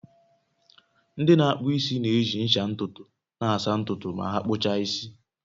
Ndị na-akpụ isi na-eji ncha ntutu na-asa ntutu ma ha kpuchaa isi